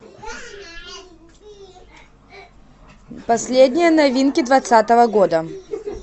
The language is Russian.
последние новинки двадцатого года